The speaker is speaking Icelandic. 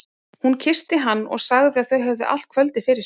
Hún kyssti hann og sagði að þau hefðu allt kvöldið fyrir sér.